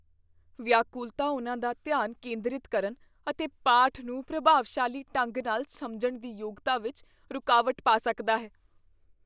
ਵਿਆਕੁਲਤਾ ਉਹਨਾਂ ਦਾ ਧਿਆਨ ਕੇਂਦਰਿਤ ਕਰਨ ਅਤੇ ਪਾਠ ਨੂੰ ਪ੍ਰਭਾਵਸ਼ਾਲੀ ਢੰਗ ਨਾਲ ਸਮਝਣ ਦੀ ਯੋਗਤਾ ਵਿੱਚ ਰੁਕਾਵਟ ਪਾ ਸਕਦਾ ਹੈ।